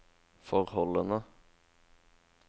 forholdene